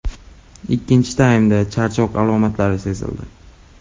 Ikkinchi taymda charchoq alomatlari sezildi.